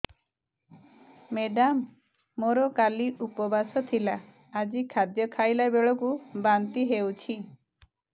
madam ମୋର କାଲି ଉପବାସ ଥିଲା ଆଜି ଖାଦ୍ୟ ଖାଇଲା ବେଳକୁ ବାନ୍ତି ହେଊଛି